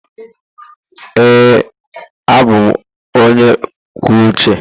Ee, abụ m onye kwuo uche.